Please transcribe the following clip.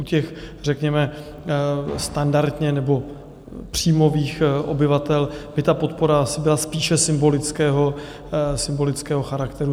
U těch řekněme standardně nebo příjmových obyvatel by ta podpora asi byla spíše symbolického charakteru.